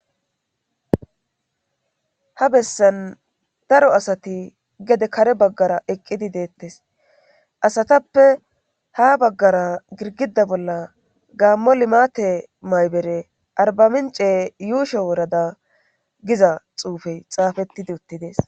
Ha bessan daro asati gede kare baggara eqqidi deettes asatappe ha baggara girgida bolla gaammo limate maybere arbamince yuusho worada giza xuufey xaafettidi uttidees.